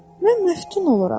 Mən məftun oluram.